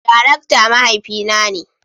Darakta mahaifi na ne.